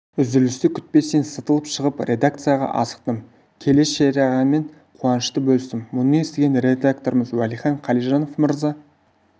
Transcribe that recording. үзілісті күтпестен сытылып шығып редакцияға асықтым келе шерағаңмен қуанышты бөлістім мұны естіген редакторымыз уәлихан қалижанов мырза